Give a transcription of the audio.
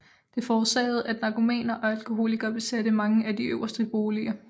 Det forårsagede at narkomaner og alkoholikere besatte mange af de øverste boliger